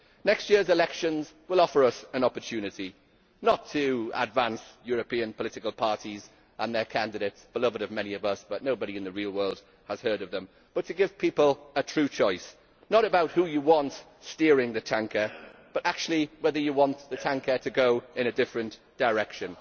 Next year's elections will offer us an opportunity, not to advance European political parties and their candidates, beloved of many of us although nobody in the real world has heard of them, but to give people a true choice not a choice about who you want steering the tanker, but actually about whether you want the tanker to go in a different direction.